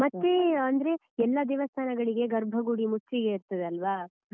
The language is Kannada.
ಮತ್ತೇ ಅಂದ್ರೆ ಎಲ್ಲಾ ದೇವಸ್ತಾನಗಳಿಗೆ ಗರ್ಭಗುಡಿ ಮುಚ್ಚಿಗೆ ಇರ್ತದೆ ಅಲ್ವಾ.